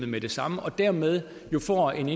med det samme og dermed får en